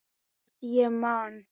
Hvort ég man.